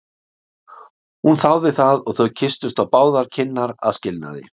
Hún þáði það og þau kysstust á báðar kinnar að skilnaði.